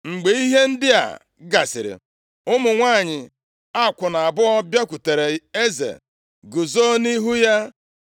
Mgbe ihe ndị a gasịrị, ụmụ nwanyị akwụna abụọ bịakwutere eze, guzo nʼihu ya. + 3:16 Ka o dozieere ha okwu.